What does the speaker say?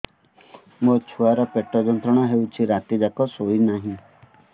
ମୋ ଛୁଆର ପେଟ ଯନ୍ତ୍ରଣା ହେଉଛି ରାତି ଯାକ ଶୋଇନାହିଁ